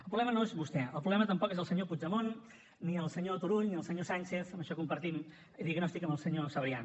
el problema no és vostè el problema tampoc és el senyor puigdemont ni el senyor turull ni el senyor sànchez en això compartim diagnòstic amb el senyor sabrià